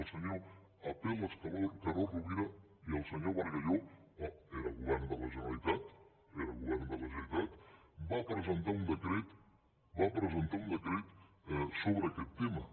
el senyor apel·les carod rovira i el senyor bargalló era govern de la generalitat era govern del a generalitat van presentar un decret sobre aquest tema